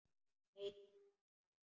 Nei takk var svarið.